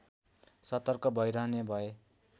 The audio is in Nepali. सतर्क भइरहने भए